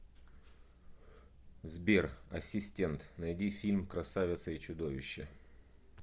сбер ассистент найди фильм красавица и чудовище